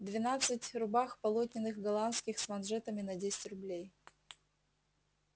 двенадцать рубах полотняных голландских с манжетами на десять рублей